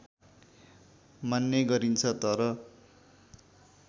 मान्ने गरिन्छ तर